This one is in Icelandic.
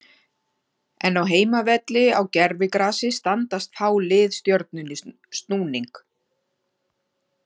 En á heimavelli á gervigrasi standast fá lið Stjörnunni snúning.